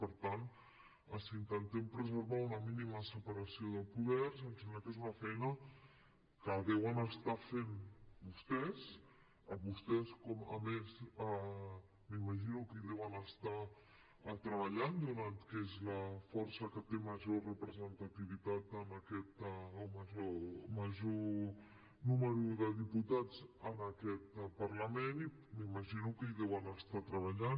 per tant si intentem preservar una mínima separació de poders em sembla que és una feina que deuen estar fent vostès vostès a més m’imagino que hi deuen estar treballant donat que són la força que té major representativitat o major nombre de diputats en aquest parlament i m’imagino que hi deuen estar treballant